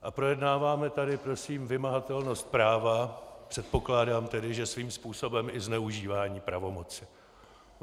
A projednáváme tady, prosím, vymahatelnost práva, předpokládám tedy, že svým způsobem i zneužívání pravomoci.